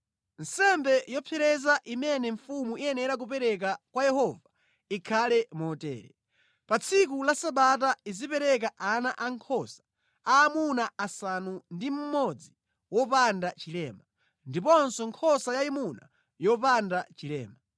Nsembe yopsereza imene mfumu iyenera kupereka kwa Yehova ikhale motere: pa tsiku la Sabata izipereka ana ankhosa aamuna asanu ndi mmodzi wopanda chilema, ndiponso nkhosa yayima yopanda chilema.